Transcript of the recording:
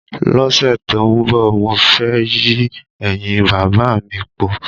Lósè tó n bò, mo fé yí èyìn bàbá mi po.